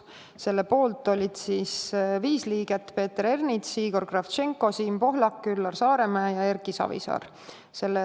Selle poolt oli viis liiget: Peeter Ernits, Igor Kravtšenko, Siim Pohlak, Üllar Saaremäe ja Erki Savisaar.